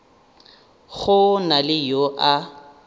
go na le yo a